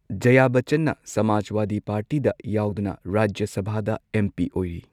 ꯖꯌꯥ ꯕꯆꯆꯟꯅ ꯁꯃꯥꯖꯋꯥꯗꯤ ꯄꯥꯔꯇꯤꯗ ꯌꯥꯎꯗꯨꯅ ꯔꯥꯖ꯭ꯌ ꯁꯚꯥꯗ ꯑꯦꯝ ꯄꯤ ꯑꯣꯏꯔꯤ꯫